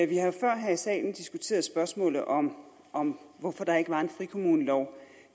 vi har jo før her i salen diskuteret spørgsmålet om om hvorfor der ikke var en frikommunelov